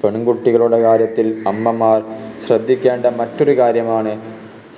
പെൺകുട്ടികളുടെ കാര്യത്തിൽ അമ്മമാർ ശ്രദ്ധിക്കേണ്ട മറ്റൊരു കാര്യമാണ്